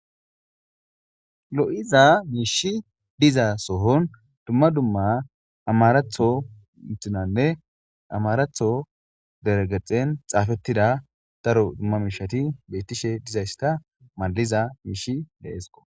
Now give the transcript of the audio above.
Lo'iza miishi diza sohon dumma dumma amaratho inthinanne amaratho deregexen xaafettida daro dumma miishati bettishe diza issta maliza miishi deesqo.